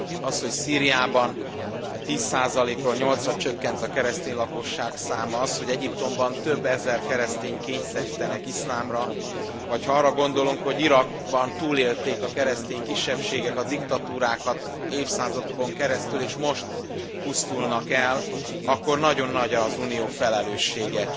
Az, hogy Szíriában 10 ról 8 ra csökkent a keresztény lakosság száma, az, hogy Egyiptomban több ezer keresztényt kényszerítenek iszlámra, vagy ha arra gondolunk, hogy Irakban túlélték a keresztény kisebbségek a diktatúrákat évszázadokon keresztül, és most pusztulnak el, akkor nagyon nagy az Unió felelőssége.